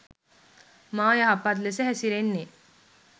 මා යහපත් ලෙස හැසිරෙන්නේ